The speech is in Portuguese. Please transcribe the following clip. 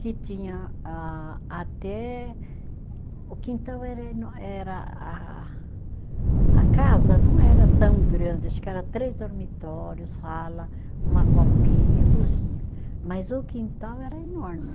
que tinha ah até, o quintal era enor, era ah a casa não era tão grande, acho que era três dormitórios, sala, uma copinha e cozinha, mas o quintal era enorme.